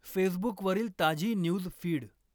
फेसबुकवरील ताजी news feed